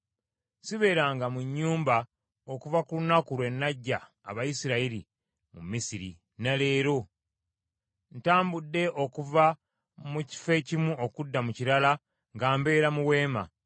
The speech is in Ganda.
Sibeeranga mu nnyumba okuva ku lunaku lwe naggya Abayisirayiri mu Misiri, ne leero. Ntambudde okuva mu kifo ekimu okudda mu kirala nga mbeera mu weema.